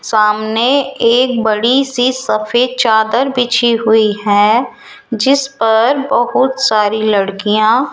सामने एक बड़ी सी सफेद चादर बिछी हुई है जिस पर बहुत सारी लड़कियां --